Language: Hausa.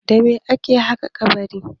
Da me ake haƙa kabari?